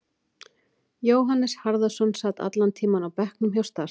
Jóhannes Harðarson sat allan tímann á bekknum hjá Start.